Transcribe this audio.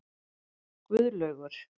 Guðlaugur